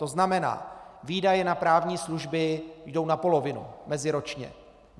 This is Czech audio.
To znamená: Výdaje na právní služby jdou na polovinu, meziročně.